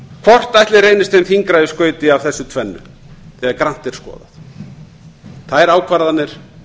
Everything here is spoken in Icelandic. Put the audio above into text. hvort ætli reynist þeim þyngra í skauti af þessu tvennu þegar grannt er skoðað þær ákvarðanir